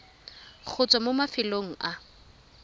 go tswa mo mafelong a